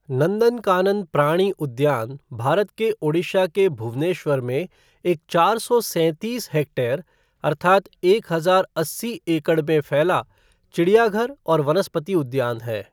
नंदनकानन प्राणी उद्यान भारत के ओडिशा के भुवनेश्वर में एक चार सौ सैंतीस हेक्टेयर अर्थात् एक हजार अस्सी एकड़ में फैला चिड़ियाघर और वनस्पति उद्यान है।